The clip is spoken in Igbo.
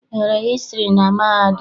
Ị gụrụ hịstrị na mahadum?